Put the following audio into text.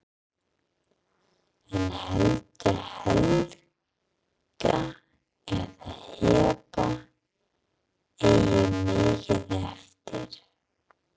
En heldur Helga að Heba eigi mikið eftir?